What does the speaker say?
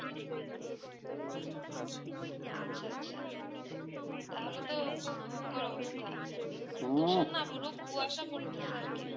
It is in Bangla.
আচ্ছা আচ্ছা তা হলে তো খুব ভয়ঙ্কর অবস্থা মানে ভীষণ না পুরো কুয়াসা পড়তে চে আর কি